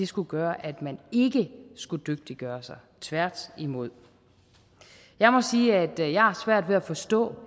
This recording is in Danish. skulle gøre at man ikke skulle dygtiggøre sig tværtimod jeg må sige at jeg har svært ved at forstå